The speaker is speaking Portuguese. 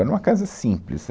Era uma casa simples.